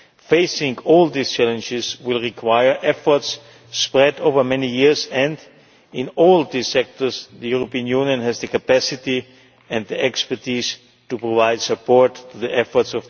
Facing all these challenges will require efforts spread over many years, and in all these sectors the European Union has the capacity and expertise to provide support for Tunisia's efforts.